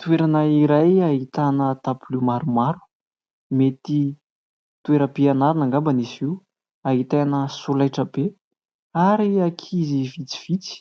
Toerana iray ahitana tabilio maromaro, mety toeram-pianarana angamba izy io, ahitana solaitra be ary ankizy vitsivitsy.